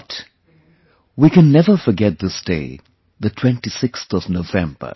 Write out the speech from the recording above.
But, we can never forget this day, the 26th of November